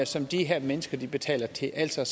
som de her mennesker betaler til altså